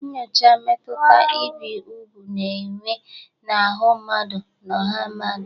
Nyochaa mmetụta ibi úgwù na-enwe n'ahụ́ mmadụ na ọha mmadụ.